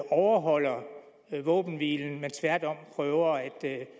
overholder våbenhvilen men tværtom prøver at